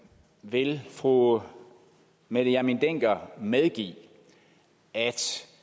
vil fru mette hjermind dencker medgive at